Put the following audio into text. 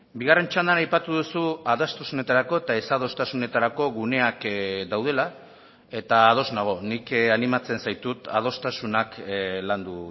bigarren txandan aipatu duzu adostasunetarako eta ez adostasunetarako guneak daudela eta ados nago nik animatzen zaitut adostasunak landu